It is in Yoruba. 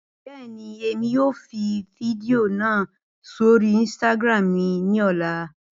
Bẹẹni, Emi yoo fi fidio naa sori Instagram ni ọla.